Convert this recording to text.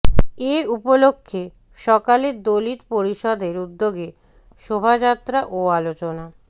এ উপলক্ষে সকালে দলিত পরিষদের উদ্যোগে শোভাযাত্রা ও আলোচনা